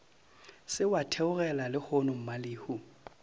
se wa theogela lehono mmalehu